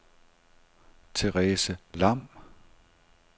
Therese Lam